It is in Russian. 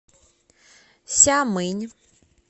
сямынь